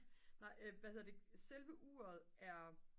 nej hvad hedder det selve uret er